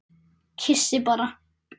Kyssi bara.